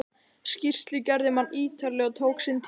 Skýrslugerðin var ítarleg og tók sinn tíma.